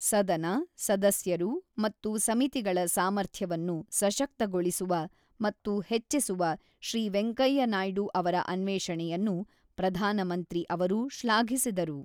ಸದನ, ಸದಸ್ಯರು ಮತ್ತು ಸಮಿತಿಗಳ ಸಾಮರ್ಥ್ಯವನ್ನು ಸಶಕ್ತಗೊಳಿಸುವ ಮತ್ತು ಹೆಚ್ಚಿಸುವ ಶ್ರೀ ವೆಂಕಯ್ಯ ನಾಯ್ಡು ಅವರ ಅನ್ವೇಷಣೆಯನ್ನು ಪ್ರಧಾನಮಂತ್ರಿ ಅವರು ಶ್ಲಾಘಿಸಿದರು.